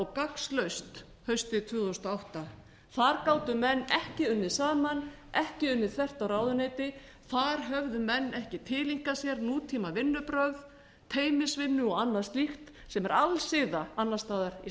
gagnslaust haustið tvö þúsund og átta þar gátu menn ekki unnið saman ekki unnið þvert á ráðuneyti þar höfðu menn ekki tileinkað sér nútímavinnubrögð teymisvinnu og annað slíkt sem er alsiða annars staðar í